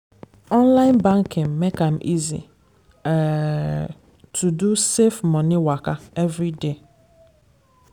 online banking make am easy um to do safe money waka every day.